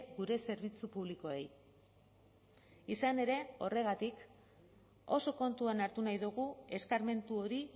gure zerbitzu publikoei izan ere horregatik oso kontuan hartu nahi dugu eskarmentu hori